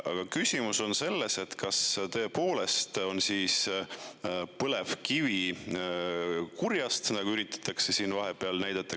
Aga küsimus on selles, et kas tõepoolest on põlevkivi kurjast, nagu üritatakse siin vahepeal näidata.